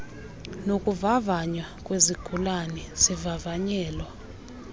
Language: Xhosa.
zokuvavanywa kwezigulane zivavanyelwa